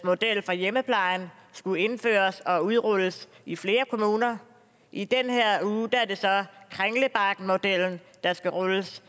model for hjemmeplejen skulle indføres og udrulles i flere kommuner i den her uge er det så kringlebakkemodellen der skal rulles